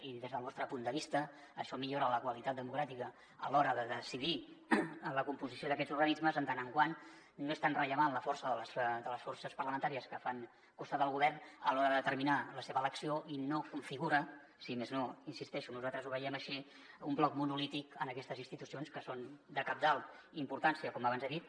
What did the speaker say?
i des del nostre punt de vista això millora la qualitat democràtica a l’hora de decidir la composició d’aquests organismes ja que no és tan rellevant la força de les forces parlamentàries que fan costat al govern a l’hora de determinar la seva elecció i no configura si més no hi insisteixo nosaltres ho veiem així un bloc monolític en aquestes institucions que són de cabdal importància com abans he dit